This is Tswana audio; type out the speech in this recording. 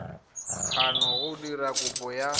kgona go dira kopo ya